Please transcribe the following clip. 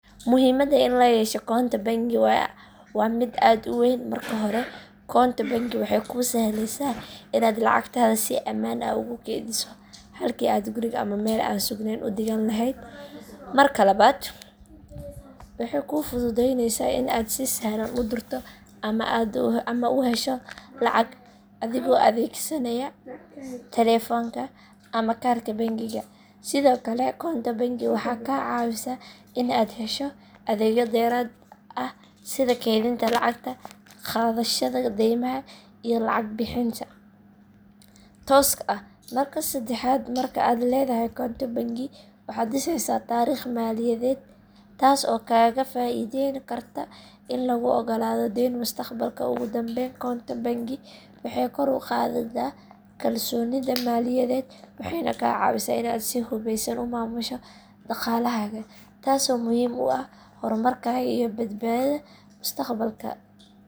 Muhiimada in layeesho koonto bangi waa mid aad u weyn marka hore, Koonto bangi waxay kuu sahleysa inaad lacagtaada si amaan ah ugu keydiso halki aad guriga ama meel an sugnen u dhigan laheyd, marka labaad waxay kuu fududeyneysaa inaad si sahlan u dirto ama aad u hesho lacag adigoo adeegsanaya taleefanka ama kaarka bangiga, sidoo kale koonto bangi waxay ka caawisaa inaad hesho adeegyo dheerad ah sida keydinta lacagta, qaadashada deymaha, iyo lacag bixinta tooska ah marka seddexaad marka aad leedahy koonto bangi waxaad dhiseysaa Taariikh maaliyadeed Taas oo kaga faaideen karta in laguu ogolaado deyn mustaqbalka , ugu dambeyn koonto bangi waxay kor uqaadeysa kalsoonida maaliyadeed waxayna kaa caawisa inaad si fudud u maamusho dhaqaalahaaga taas oo muhiim u ah hormarkaaga iyo badbaadada mustaqbalka